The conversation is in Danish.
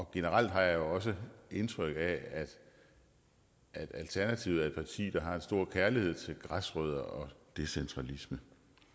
generelt har jeg også indtryk af at alternativet er et parti der har en stor kærlighed til græsrødder og decentralisme